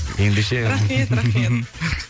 ендеше рахмет рахмет